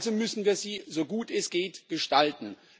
Also müssen wir sie, so gut es geht, gestalten.